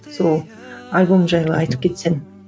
сол альбом жайлы айтып кетсең